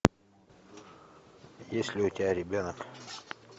есть ли у тебя ребенок